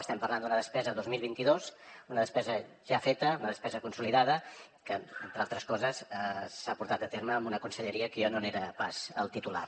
estem parlant d’una despesa dos mil vint dos una despesa ja feta una despesa consolidada que entre altres coses s’ha portat a terme amb una conselleria que jo no n’era pas el titular